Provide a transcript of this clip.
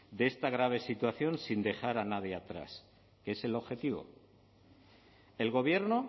de esta grave situación sin dejar a nadie atrás que es el objetivo el gobierno